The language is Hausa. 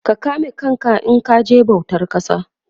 ka kame kanka in kaje bautan kasa